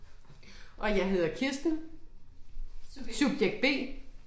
Og jeg hedder Kristen, subjekt B